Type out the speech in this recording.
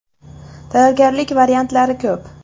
Tayyorgarlik variantlari ko‘p.